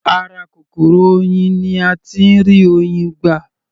Ara kòkòrò oyin ni a tí ń rí Oyin gbà.